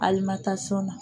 na.